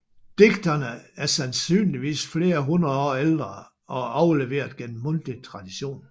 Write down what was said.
Digtene er sandsynligvis flere hundrede år ældre og er overleveret gennem mundtlig tradition